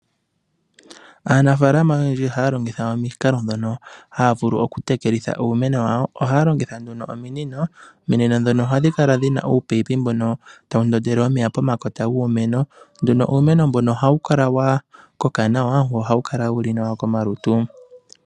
Aanafalama oyendji ihaya longitha omikalo ndhono haa vulu okutekelitha iimeno yawo ohaa longitha nduno ominino. Ominino ndhono ohadhi kala dhina uupayipi mbono tawu ndondele omeya pomakota giimeno uumeno mbono ohawu kala wa koka nawa nohawu kala wu li nawa komalutu.